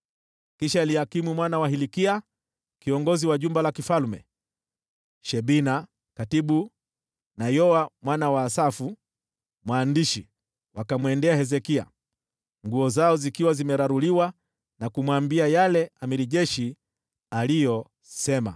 Kisha Eliakimu mwana wa Hilkia msimamizi wa jumba la kifalme, Shebna katibu, na Yoa mwana wa Asafu, mwandishi wakamwendea Hezekia, nguo zao zikiwa zimeraruliwa, na kumwambia yale jemadari wa jeshi aliyoyasema.